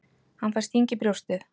Hann fær sting í brjóstið.